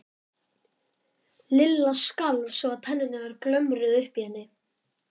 Lilla skalf svo að tennurnar glömruðu uppi í henni.